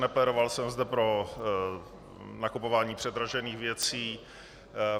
Neplédoval jsem zde pro nakupování předražených věcí.